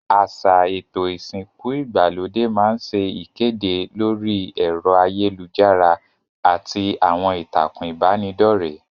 Àsà èto ìsìnku ìgbàlódé ma n se ìkédè lórí èro ayélujárá àti àwon ìtàkùn ìbànidọ́rẹ́